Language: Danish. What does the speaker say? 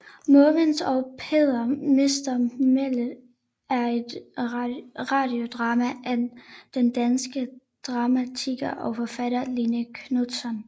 Måvens og Peder mister mælet er et radiodrama af den danske dramatiker og forfatter Line Knutzon